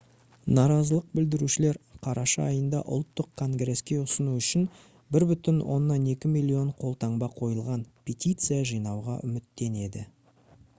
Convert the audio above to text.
наразылық білдірушілер қараша айында ұлттық конгреске ұсыну үшін 1,2 миллион қолтаңба қойылған петиция жинауға үміттенеді